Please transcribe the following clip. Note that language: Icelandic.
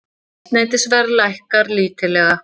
Eldsneytisverð lækkar lítillega